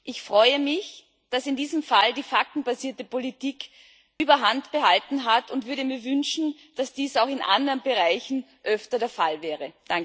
Ich freue mich, dass in diesem Fall die faktenbasierte Politik die Überhand behalten hat und würde mir wünschen, dass dies auch in anderen Bereichen öfter der Fall wäre.